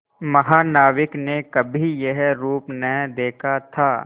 महानाविक ने कभी यह रूप न देखा था